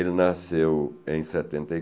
Ele nasceu em setenta e